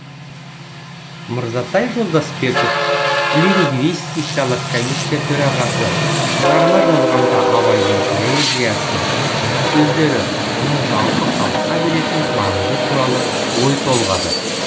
мырзатай жолдасбеков лингвистикалық комиссия төрағасы шығарма жазғанда абайдың поэзиясы қара сөздері оның жалпы халыққа беретін маңызы туралы ой толғады